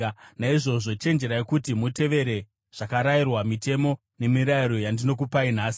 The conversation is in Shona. Naizvozvo, chenjerai kuti mutevere zvakarayirwa, mitemo nemirayiro yandinokupai nhasi.